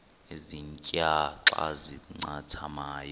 ezintia xa zincathamayo